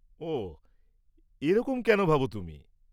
ওহ, এরকম কেন ভাব তুমি?